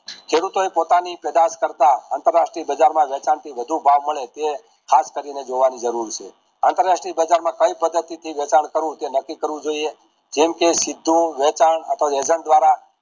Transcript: ખેડૂતો એ પોતાની પેઢાસ કરતા આંતરાષ્ટ્રીય બજાર માં વધુ ભાવ મળે તે ખાસ કરીને જોવાની જરૂર છે આંતરાષ્ટ્રીય બજાર માં કઈ પદ્ધતિ વેતન કરવું તે નક્કી કરવું જોઈએ જેમકે સિદ્ધુ વેચાણ અતીવ વેજામ દ્વારા